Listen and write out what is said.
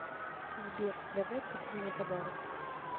сбер давай купим мне подарок